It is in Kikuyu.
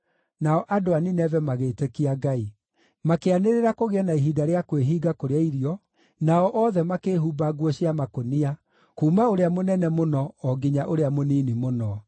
Nao andũ a Nineve magĩĩtĩkia Ngai. Makĩanĩrĩra kũgĩe na ihinda rĩa kwĩhinga kũrĩa irio, nao othe makĩĩhumba nguo cia makũnia, kuuma ũrĩa mũnene mũno o nginya ũrĩa mũnini mũno.